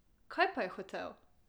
Kaj pa je hotel?